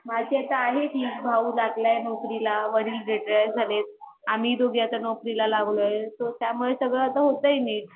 माझी आता आहे ठीक भाऊ लगले नौकरी ला वडील रिटायर झाले आम्ही दोघे आता नौकरीला लागलोय त्यामुळे आता सगळा होतय नीट